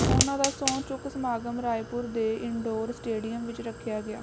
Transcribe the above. ਉਨ੍ਹਾਂ ਦਾ ਸਹੁੰ ਚੁੱਕ ਸਮਾਗਮ ਰਾਏਪੁਰ ਦੇ ਇਨਡੋਰ ਸਟੇਡੀਅਮ ਵਿੱਚ ਰੱਖਿਆ ਗਿਆ